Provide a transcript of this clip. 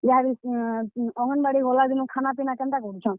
ୟାଦେ, ଅଙ୍ଗେନବାଡି ଗଲାଦିନୁ ଖାନା ପିନା କେନ୍ତା କରୁଛନ୍?